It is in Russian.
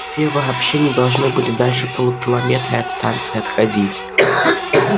те вообще не должны были дальше полукилометра от станции отходить